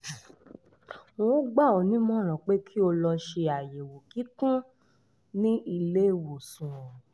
n ó gbà ọ́ ní ìmọ̀ràn pé kí o lọ ṣe àyẹ̀wò kíkún ní ilé-ìwòsàn